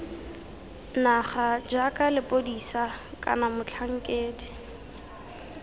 naga jaaka lepodisa kana motlhankedi